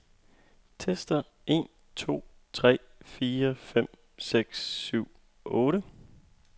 Tester en to tre fire fem seks syv otte.